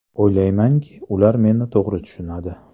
O‘ylaymanki, ular meni to‘g‘ri tushunadi.